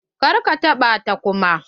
Kar ka taɓa ta kuma.